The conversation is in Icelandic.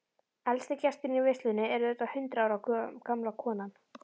Elsti gesturinn í veislunni er auðvitað hundrað ára gamla konan.